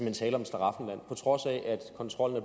er tale om et slaraffenland på trods af at kontrollen